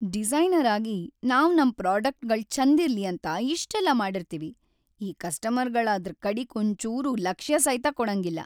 Designer ಆಗಿ ನಾವ್‌ ನಮ್‌ ಪ್ರೋಡಕ್ಟ್‌ಗಳ್‌ ಛಂದಿರ್ಲಿ ಅಂತ ಇಷ್ಟೆಲ್ಲಾ ಮಾಡಿರ್ತೀವಿ, ಈ ಕಸ್ಟಮರ್ಗಳ್‌ ಅದ್ರ‌ ಕಡಿಗ್ ಒಂಚೂರ್ ಲಕ್ಷ್ಯಸೈತ ಕೊಡಂಗಿಲ್ಲ.